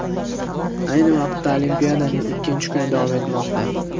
Ayni vaqtda olimpiadaning ikkinchi kuni davom etmoqda.